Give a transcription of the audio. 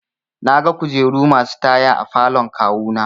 Naga kujeru masu taya a falon kawu na.